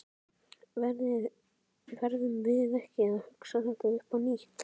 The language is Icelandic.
Verðum við ekki að hugsa þetta upp á nýtt?